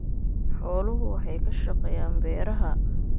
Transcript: Xooluhu waxay ka shaqeeyaan beeraha.